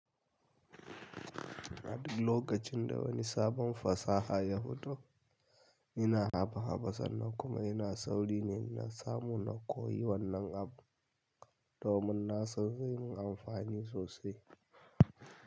Lokacin da wani sabon fasaha ya fito, ina haba haba sannan kuma ina sauri ne na samu na koyi wannan abu, domin na san zai min amfani sosai.